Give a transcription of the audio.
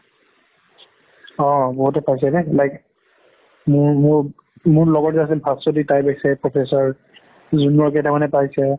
অ বহুতে পাইছে like মোৰ মোৰ, মোৰ লগৰ যে আছিল ভাস্ৱাতি তাই পাইছে professor junior কেইটামানে পাইছে